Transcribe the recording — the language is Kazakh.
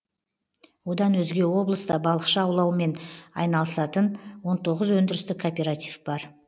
одан өзге облыста балықшы аулаумен айналысатын он тоғыз өндірістік кооператив бар